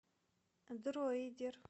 дроидер